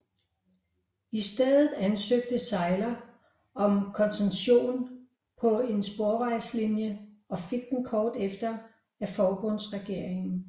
I stedet ansøgte Seiler om koncession på en sporvejslinie og fik den kort efter af forbundsregeringen